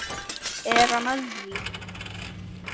Er hann að því?